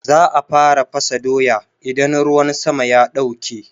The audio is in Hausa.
Za a fara fasa doya idan ruwan sama ya ɗauke.